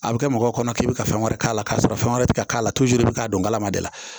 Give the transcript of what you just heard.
A bɛ kɛ mɔgɔw kɔnɔ k'i bɛ ka fɛn wɛrɛ k'a la k'a sɔrɔ fɛn wɛrɛ tɛ k'a la i bɛ k'a kalama de la